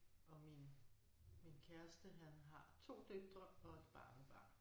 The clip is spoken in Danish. Og min min kæreste han har 2 døtre og et barnebarn